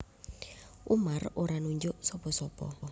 Umar ora nunjuk sapa sapa